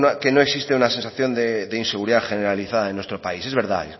que no existe una sensación de inseguridad generalizada en nuestro país es verdad